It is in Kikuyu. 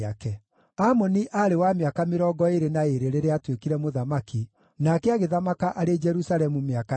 Amoni aarĩ wa mĩaka mĩrongo ĩĩrĩ na ĩĩrĩ rĩrĩa aatuĩkire mũthamaki, nake agĩthamaka arĩ Jerusalemu mĩaka ĩĩrĩ.